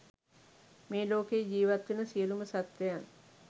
මේලෝකයේ ජීවත්වෙන සියලුම සත්වයන්